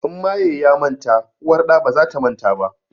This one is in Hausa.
In maye ya manta uwar ɗa baza ta manta ba